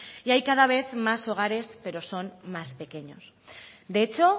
y hay cada vez más hogares pero son más pequeños de hecho